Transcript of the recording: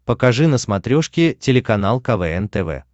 покажи на смотрешке телеканал квн тв